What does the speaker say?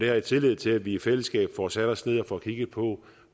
jeg tillid til at vi i fællesskab får sat os ned og får kigget på